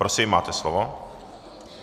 Prosím máte slovo.